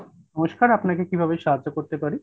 নমস্কার, আপনাকে কিভাবে সাহায্য করতে পারি?